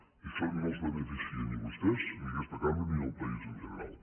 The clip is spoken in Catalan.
i això no els beneficia ni a vostès ni a aquesta cambra ni al país en general